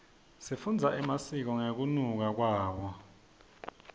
sifundza emasiko ngekunluka kwawo